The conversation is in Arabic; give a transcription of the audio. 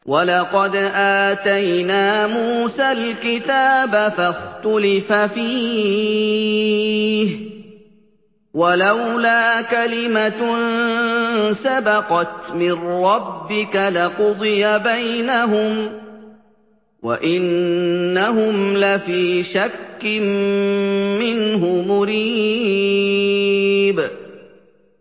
وَلَقَدْ آتَيْنَا مُوسَى الْكِتَابَ فَاخْتُلِفَ فِيهِ ۗ وَلَوْلَا كَلِمَةٌ سَبَقَتْ مِن رَّبِّكَ لَقُضِيَ بَيْنَهُمْ ۚ وَإِنَّهُمْ لَفِي شَكٍّ مِّنْهُ مُرِيبٍ